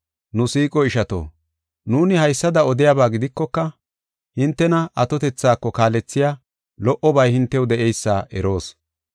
Nu siiqo ishato, nuuni haysada odiyaba gidikoka, hintena atotethako kaalethiya lo77obay hintew de7eysa eroos.